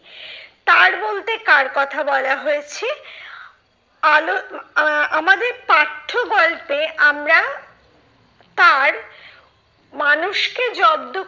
তার বলতে কার কথা বলা হয়েছে? আলো আহ আমাদের পাঠ্য গল্পে আমরা তার মানুষকে জব্দ